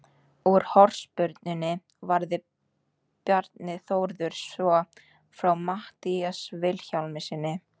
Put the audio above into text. Úr hornspyrnunni varði Bjarni Þórður svo frá Matthíasi Vilhjálmssyni.